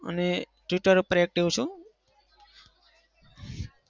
અને twitter પર active છું.